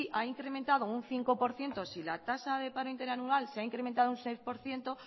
ha incrementado un cinco por ciento si la tasa de paro interanual se ha incrementado un seis por ciento